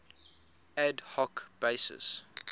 ad hoc basis